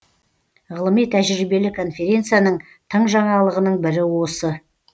ғылыми тәжірибелі конференцияның тың жаңалығының бірі осы